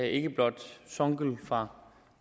ikke blot songül fra